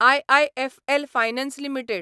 IIFL finance limited